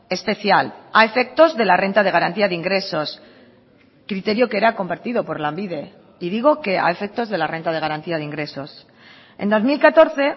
especial a efectos de la renta de garantía de ingresos criterio que era compartido por lanbide y digo que a efectos de la renta de garantía de ingresos en dos mil catorce